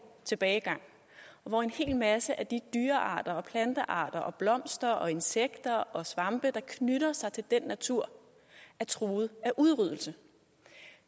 tilbagegang og hvor en hel masse af de dyrearter og plantearter og blomster og insekter og svampe der knytter sig til den natur er truet af udryddelse